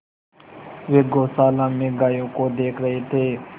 वे गौशाला में गायों को देख रहे थे